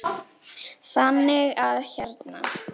Þannig að hérna.